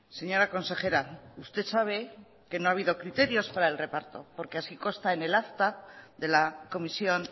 señora consejera usted sabe que no ha habido criterios para el reparto porque así consta en el acta de la comisión